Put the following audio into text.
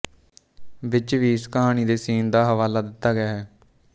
ਵਿੱਚ ਵੀ ਇਸ ਕਹਾਣੀ ਦੇ ਸੀਨ ਦਾ ਹਵਾਲਾ ਦਿੱਤਾ ਗਿਆ ਹੈ